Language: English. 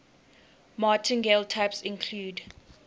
martingale types include